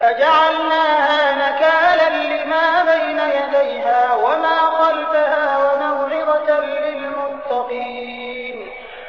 فَجَعَلْنَاهَا نَكَالًا لِّمَا بَيْنَ يَدَيْهَا وَمَا خَلْفَهَا وَمَوْعِظَةً لِّلْمُتَّقِينَ